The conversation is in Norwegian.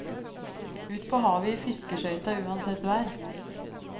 Ut på havet i fiskeskøyta uansett vær.